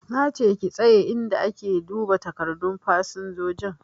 Na ce ki tsaye inda ake duba takardun fasinjoji!